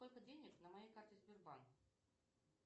сколько денег на моей карте сбербанк